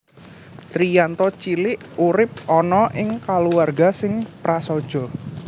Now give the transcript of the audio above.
Triyanto cilik urip ana ing kulawarga sing prasaja